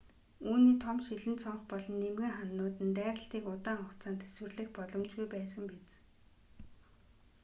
үүний том шилэн цонх болон нимгэн хананууд нь дайралтыг удаан хугацаанд тэсвэрлэх боломжгүй байсан биз